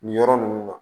Nin yɔrɔ ninnu na